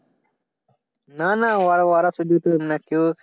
না না ওরা